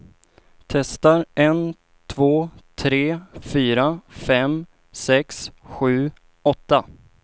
Testar en två tre fyra fem sex sju åtta.